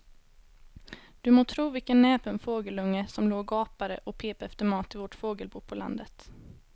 Du må tro vilken näpen fågelunge som låg och gapade och pep efter mat i vårt fågelbo på landet.